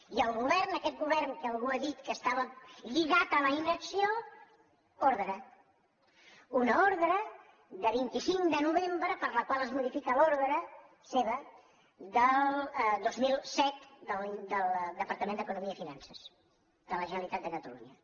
i el govern aquest govern que algú ha dit que estava lligat a la inacció ordre una ordre de vint cinc de novembre per la qual es modifica l’or·dre seva del dos mil set del departament d’economia i fi·nances de la generalitat de catalunya